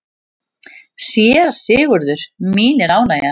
SÉRA SIGURÐUR: Mín er ánægjan.